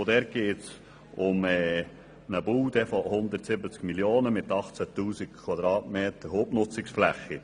Dabei geht es um einen Bau für 170 Mio. Franken und 18 000 m Hubnutzungsfläche.